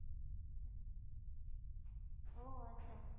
ઓહ અચ્છા